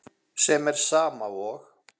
sem er sama og